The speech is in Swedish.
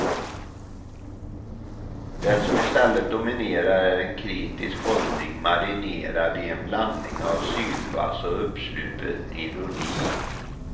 Det som i stället dominerar är en kritisk hållning marinerad i en blandning av sylvass och uppsluppen ironi.